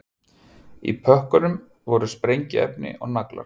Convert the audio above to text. Í pökkunum voru sprengiefni og naglar